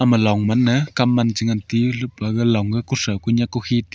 ema long man ne kam man chu ngan tiyu lukpa ga long e kuthau kunyak kukhi ti--